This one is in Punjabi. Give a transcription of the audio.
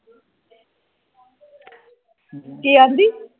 ਕੀ ਆਦੀ